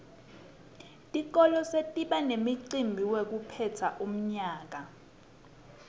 tikolwa setiba nemicimbi wekuphetsa umnyaka